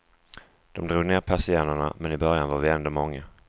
De drog ned persiennerna, men i början var vi ändå många.